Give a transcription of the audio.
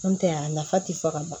N'o tɛ a nafa tɛ fɔ ka ban